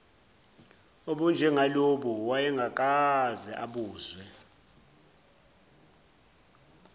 obunjengalobu wayengakaze abuzwe